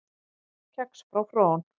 Kex frá Frón